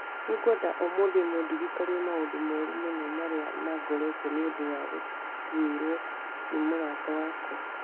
Nĩngwenda ũmũthĩ mũndirikanie maũndũ mooru mũno marĩa mangorete nĩ ũndũ wa gũtuĩrũo nĩ mũrata wakwa.